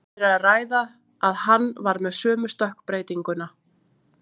Svo virðist sem um tilviljun hafi verið að ræða að hann var með sömu stökkbreytinguna.